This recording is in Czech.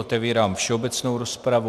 Otevírám všeobecnou rozpravu.